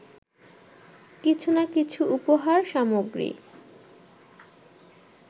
কিছু না কিছু উপহার সামগ্রী